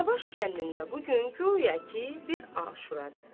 Danabaş kəndində bu gün guya ki, bir aşuradır.